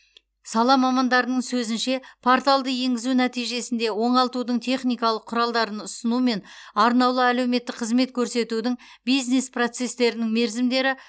сала мамандарының сөзінше порталды енгізу нәтижесінде оңалтудың техникалық құралдарын ұсыну мен арнаулы әлеуметтік қызмет көрсетудің бизнес процестерінің мерзімдері